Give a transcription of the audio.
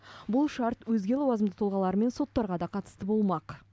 бұл шарт өзге лауазымды тұлғалар мен соттарға да қатысты болмақ